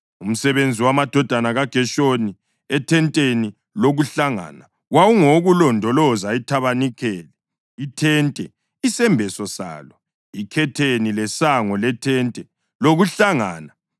Umsebenzi wamadodana kaGeshoni ethenteni lokuhlangana wawungowokulondoloza ithabanikeli, ithente, isembeso salo, ikhetheni lesango lethente lokuhlangana,